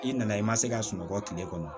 I nana i ma se ka sunɔgɔ kile kɔnɔ